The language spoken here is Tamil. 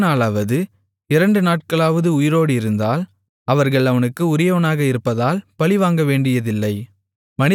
ஒரு நாளாவது இரண்டு நாட்களாவது உயிரோடு இருந்தால் அவர்கள் அவனுக்கு உரியவனாக இருப்பதால் பழிவாங்கவேண்டியதில்லை